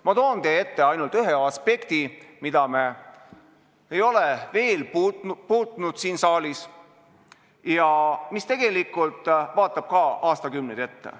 Ma toon teie ette ainult ühe aspekti, mida me pole siin saalis veel puudutanud ja mis tegelikult vaatab aastakümneid ette.